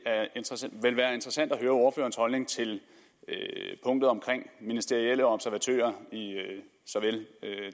vil være interessant at høre ordførerens holdning til punktet omkring ministerielle observatører i såvel